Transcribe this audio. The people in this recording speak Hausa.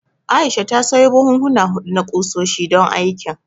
Aisha ta sayo buhuhuna huɗu na ƙusoshi, don aikin.